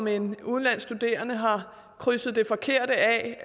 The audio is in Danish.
en udenlandsk studerende har krydset det forkerte af